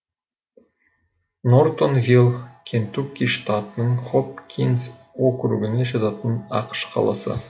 нортонвилл кентукки штатының хопкинс округіне жататын ақш қаласы